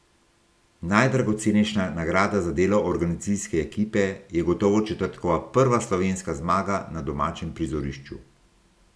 Najdragocenejša nagrada za delo organizacijske ekipe je gotovo četrtkova prva slovenska zmaga na domačem prizorišču.